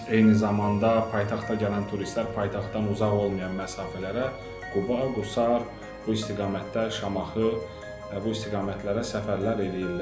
Eyni zamanda paytaxta gələn turistlər paytaxtdan uzaq olmayan məsafələrə, Quba, Qusar bu istiqamətlərə, Şamaxı, bu istiqamətlərə səfərlər eləyirlər.